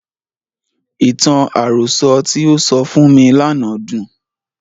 Ìtàn àròsọ tí o sọ fún mi lánàá dùn.